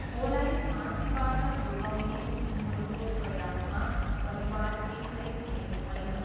खोलाई फाँसीबाट जोगाउने उनीहरूको प्रयासमा परिवार एक्लै हुने छैन।